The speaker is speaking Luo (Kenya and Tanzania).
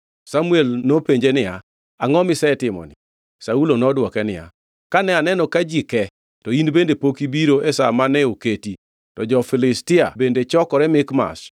Samuel nopenje niya, “Angʼo misetimoni?” Saulo nodwoke niya, “Kane aneno ka ji ke to in bende pok ibiro e sa mane oketi, to jo-Filistia bende chokore Mikmash,